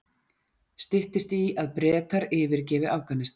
Styttist í að Bretar yfirgefi Afghanistan